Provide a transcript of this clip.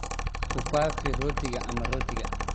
Ku faafi rootiga ama rootiga.